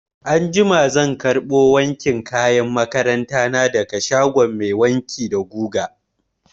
Anjima zan karɓo wankin kayan makaranta na daga shagon mai wanki da guga.